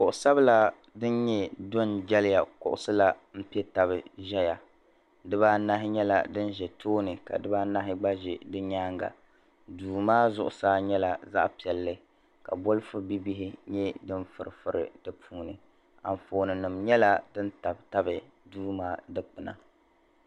Kuɣisabila din nyɛ dɔn jeliya kuɣisila n pɛ tabi ʒɛya dibaanahi nyɛla din ʒa tooni ka diba anahi gba ʒɛ di nyaaŋa duumaa zuɣu saa nyɛla zaɣi piɛli ka bolipu bihibihi nyɛ din furi turi di puuni, ka anfɔɔni nim nyɛla din tabitab duu maa di kpina.